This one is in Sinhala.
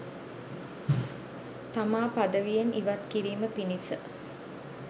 තමා පදවියෙන් ඉවත් කිරීම පිණිස